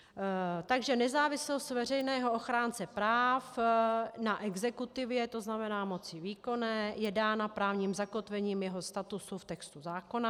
Takže nezávislost veřejného ochránce práv na exekutivě, to znamená moci výkonné, je dána právním zakotvením jeho statusu v textu zákona.